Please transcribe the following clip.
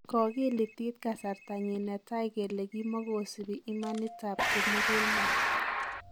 Kokiilitiit kasartanyin ne taai kele kimogosipii imanit ab kimugulmet.